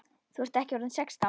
Þú ert ekki orðinn sextán!